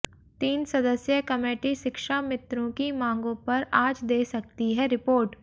तीन सदस्यीय कमेटी शिक्षामित्रों की मांगों पर आज दे सकती है रिपोर्ट